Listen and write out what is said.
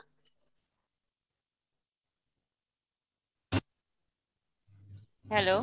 hello